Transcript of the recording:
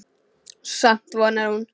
Samt vonar hún.